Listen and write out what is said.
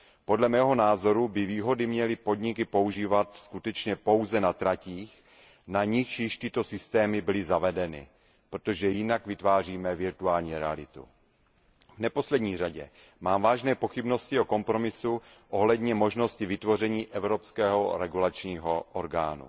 Podle mého názoru by výhody měly podniky používat skutečně pouze na tratích, na nichž již tyto systémy byly zavedeny, protože jinak vytváříme virtuální realitu. V neposlední řadě mám vážné pochybnosti o kompromisu ohledně možnosti vytvoření evropského regulačního orgánu.